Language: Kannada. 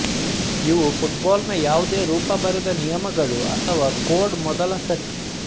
ಇವು ಫುಟ್ಬಾಲ್ನ ಯಾವುದೇ ರೂಪ ಬರೆದ ನಿಯಮಗಳು ಅಥವಾ ಕೋಡ್ ಮೊದಲ ಸೆಟ್